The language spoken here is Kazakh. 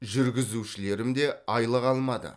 жүргізушілерім де айлық алмады